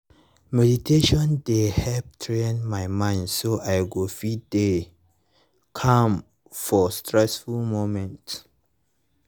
meditation dey help train my mind so i go fit dey calm for stressful moments